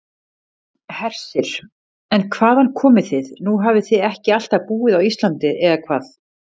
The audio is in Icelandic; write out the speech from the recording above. Hersir: En hvaðan komið þið, nú hafið þið ekki alltaf búið á Íslandi, eða hvað?